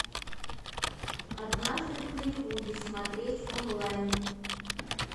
однажды в голливуде смотреть онлайн